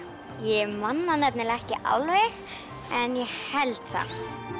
ég man það ekki alveg en ég held það